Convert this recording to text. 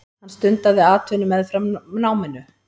Hann stundaði atvinnu meðfram náminu.